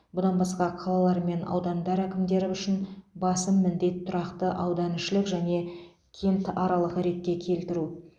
бұдан басқа қалалар мен аудандар әкімдері үшін басым міндет тұрақты ауданішілік және кентаралық ретке келтіру